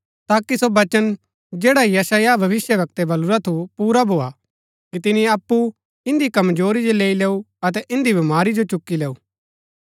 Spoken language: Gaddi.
ताकि सो वचन जैडा यशायाह भविष्‍यवक्तै बलुरा थु पुरा भोआ कि तिनी अप्पु इन्दी कमजोरी जो लैई लैऊ अतै इन्दी बमारी जो चुकी लैऊ